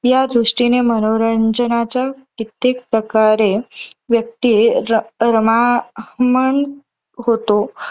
या दृष्टीने मनोरंजनाच्या कित्तेक प्रकारे व्यक्ती र रममाण होतो.